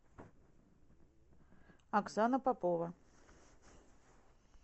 оксана попова